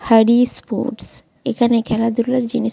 Harris sport এইখানে খেলাধুলার জিনিস--